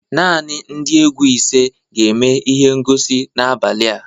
Naanị ndị egwu ise ga-eme ihe ngosi n'abalị a